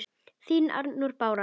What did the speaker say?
Þín, Arnrún Bára.